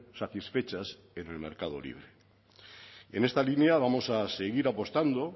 satisfechas en el mercado libre en esta línea vamos a seguir apostando